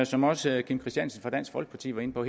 som også herre kim christiansen fra dansk folkeparti var inde på